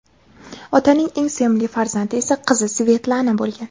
Otaning eng sevimli farzandi esa qizi Svetlana bo‘lgan.